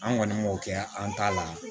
An kɔni m'o kɛ an ta la